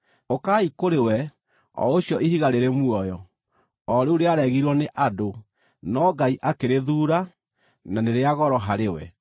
Ũkai kũrĩ we, o ũcio Ihiga rĩrĩ muoyo, o rĩu rĩaregirwo nĩ andũ, no Ngai akĩrĩthuura, na nĩ rĩa goro harĩ we,